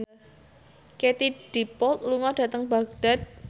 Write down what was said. Katie Dippold lunga dhateng Baghdad